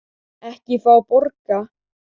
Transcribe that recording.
Ekki fá borga.